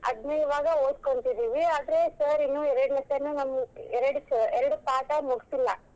ಅದ್ನೇ ಇವಾಗ ಓದ್ಕೊಂತಿದೀವಿ ಆದ್ರೆ sir ಇನ್ನೂ ಎರಡ್ lesson ನಮ್ಗ್ ಎರಡ್ ಎರಡ್ ಪಾಠ ಮುಗಿಸಿಲ್ಲಾ.